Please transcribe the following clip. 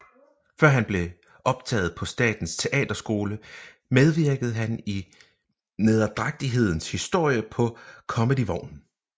Før han blev optaget på Statens Teaterskole medvirkede han i Nederdrægtighedens Historie på Comedievognen